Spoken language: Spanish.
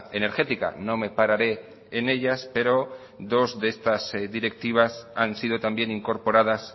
energética no me pararé en ellas pero dos de estas directivas han sido también incorporadas